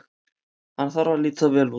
Hann þarf að líta vel út.